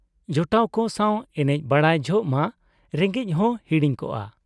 ᱡᱚᱴᱟᱣ ᱠᱚ ᱥᱟᱶ ᱮᱱᱮᱡ ᱵᱟᱰᱟᱭ ᱡᱚᱦᱚᱜ ᱢᱟ ᱨᱮᱸᱜᱮᱡ ᱦᱚ ᱸ ᱦᱤᱲᱤᱧ ᱠᱚᱜᱼᱟ ᱾